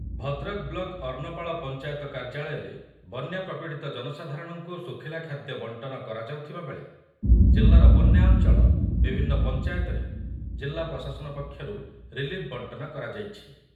Bhadrak block Arnapal panchayat କାର୍ଯ୍ୟାଳୟରେ ବନ୍ୟା ପ୍ରପୀଡ଼ିତ ଜନସାଧାରଣଙ୍କୁ ଶୁଖିଲା ଖାଦ୍ୟ ବଣ୍ଟନ କରାଯାଉଥିବା ବେଳେ ଜିଲ୍ଲାର ବନ୍ୟା ଅଞ୍ଚଳ ବିଭିନ୍ନ ପଞ୍ଚାୟତରେ ଜିଲ୍ଲା ପ୍ରଶାସନ ପକ୍ଷରୁ ରିଲିଫ୍‌ ବଣ୍ଟନ କରାଯାଇଛି ।